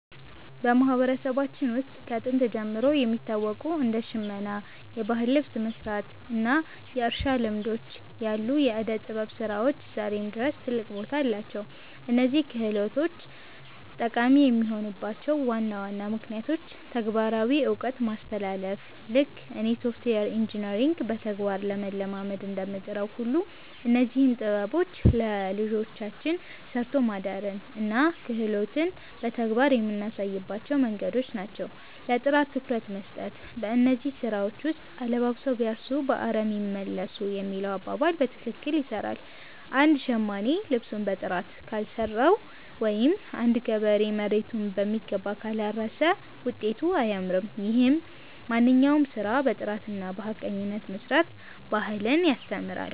በማህበረሰባችን ውስጥ ከጥንት ጀምሮ የሚታወቁ እንደ ሽመና (የባህል ልብስ መስራት) እና የእርሻ ልማዶች ያሉ የዕደ-ጥበብ ስራዎች ዛሬም ድረስ ትልቅ ቦታ አላቸው። እነዚህ ክህሎቶች ጠቃሚ የሆኑባቸው ዋና ዋና ምክንያቶች ተግባራዊ እውቀት ማስተላለፍ፦ ልክ እኔ ሶፍትዌር ኢንጂነሪንግን በተግባር ለመለማመድ እንደምጥረው ሁሉ፣ እነዚህም ጥበቦች ለልጆቻችን 'ሰርቶ ማደርን' እና 'ክህሎትን' በተግባር የምናሳይባቸው መንገዶች ናቸው። ለጥራት ትኩረት መስጠት፦ በእነዚህ ስራዎች ውስጥ 'አለባብሰው ቢያርሱ በአረም ይመለሱ' የሚለው አባባል በትክክል ይሰራል። አንድ ሸማኔ ልብሱን በጥራት ካልሰራው ወይም አንድ ገበሬ መሬቱን በሚገባ ካላረሰ ውጤቱ አያምርም። ይህም ማንኛውንም ስራ በጥራትና በሐቀኝነት የመስራት ባህልን ያስተምራል።